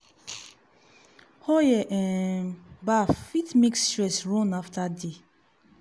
oil um bath fit make stress run after day.